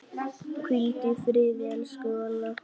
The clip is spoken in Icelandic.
Hvíldu í friði, elsku Valla.